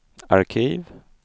arkiv